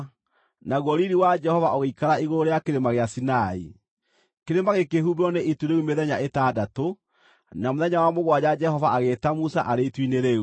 naguo riiri wa Jehova ũgĩikara igũrũ rĩa Kĩrĩma gĩa Sinai. Kĩrĩma gĩkĩhumbĩrwo nĩ itu rĩu mĩthenya ĩtandatũ, na mũthenya wa mũgwanja Jehova agĩĩta Musa arĩ itu-inĩ rĩu.